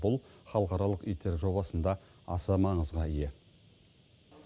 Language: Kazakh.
бұл халықаралық аитер жобасында аса маңызға ие